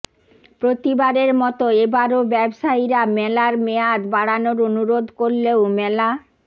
প্রতিবারের মতো এবারও ব্যবসায়ীরা মেলার মেয়াদ বাড়ানোর অনুরোধ করলেও মেলা